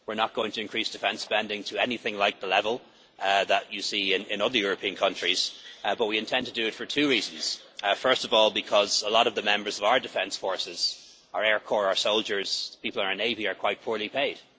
We are not going to increase defence spending to anything like the level that you see in other European countries, but we intend to do it for two reasons first of all, because a lot of the members of our defence forces our air corps, our soldiers, people in our navy are quite poorly paid.